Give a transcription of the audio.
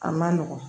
A man nɔgɔn